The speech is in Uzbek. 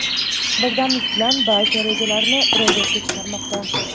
birdamlik bilan barcha rejalarini ro‘yobga chiqarmoqda.